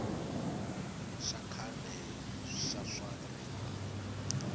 xa khale xa swa rihanyo